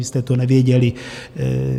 vy jste to nevěděli.